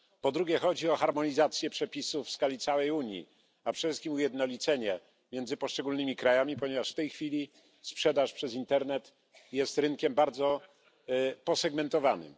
Po drugie, chodzi o harmonizację przepisów w skali całej Unii, a przede wszystkim ujednolicenie między poszczególnymi krajami, ponieważ w tej chwili sprzedaż przez internet jest rynkiem bardzo posegmentowanym.